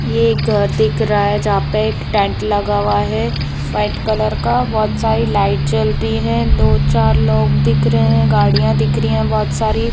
ये एक घर दिख रहा है जहां पर टेंट लगा हुआ हैव्हाइट कलर का बहुत सारी लाइट जलती है दो चार लोग दिख रहा हैबहुत सारी गाड़ियां दिख रही है।